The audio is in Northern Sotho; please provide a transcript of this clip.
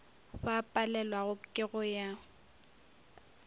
ba palelwago ke go ya